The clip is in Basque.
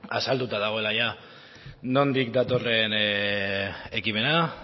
azalduta dagoela jada nondik datorren ekimena